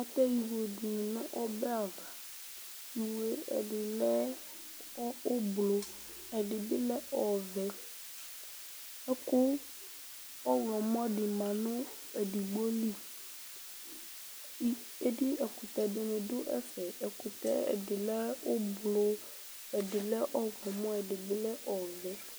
Atɛ iwo dɩnɩ nʋ ɔbɛ ava Iwo yɛ, ɛdɩnɩ oblʋ, ɛdɩ bɩ lɛ ɔvɛ Ɛkʋ ɔɣlɔmɔ dɩ ma nʋ edigbo li I edi ɛkʋtɛ dɩnɩ dʋ ɛfɛ Ɛkʋtɛ, ɛdɩ lɛ oblʋ, ɛdɩ lɛ ɔɣlɔmɔ, ɛdɩ bɩ lɛ ɔvɛ